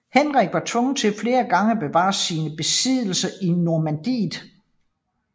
Henrik var tvunget til flere gange at forsvare sine besiddelser i Normandiet